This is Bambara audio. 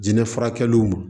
Jinɛ furakɛliw ma